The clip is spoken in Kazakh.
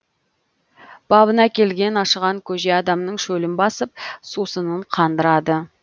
бабына келген ашыған көже адамның шөлін басып сусынын қандырады